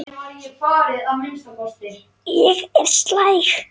Ég er slæg.